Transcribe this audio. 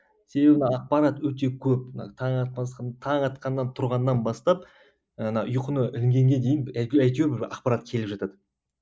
себебі ақпарат өте көп таң таң атқаннан тұрғаннан бастап ана ұйқыны інгенге дейін әйтеуір бір ақпарат келіп жатады